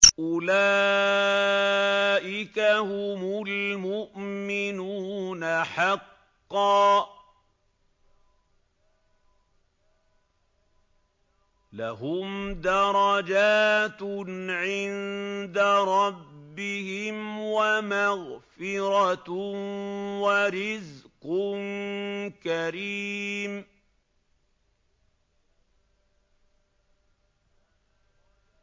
أُولَٰئِكَ هُمُ الْمُؤْمِنُونَ حَقًّا ۚ لَّهُمْ دَرَجَاتٌ عِندَ رَبِّهِمْ وَمَغْفِرَةٌ وَرِزْقٌ كَرِيمٌ